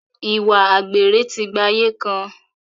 Ìwà àgbèrè ti gba ayé kan.